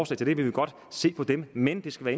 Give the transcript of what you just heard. til det vil vi godt se på dem men det skal